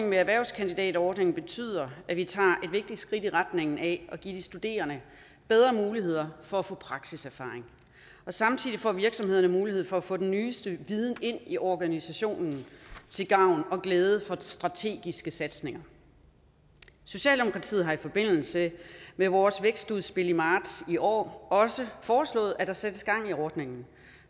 med erhvervskandidatordningen betyder at vi tager et vigtigt skridt i retning af at give de studerende bedre muligheder for at få praksiserfaring samtidig får virksomhederne mulighed for at få den nyeste viden ind i organisationen til gavn og glæde for strategiske satsninger socialdemokratiet har i forbindelse med vores vækstudspil i marts i år også foreslået at der sættes gang i ordningen